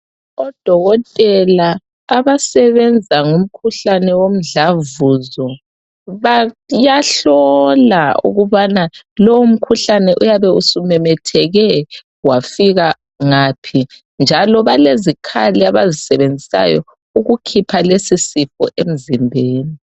Odokotela abasebenza ngomkhuhlane womdlavuzo bayahlola ukubana umkhuhlane uyabe sumemetheke wafika ngaphi njalo balezikhali abazisebenzisayo ukukhipha lesi sifo emzimbeni .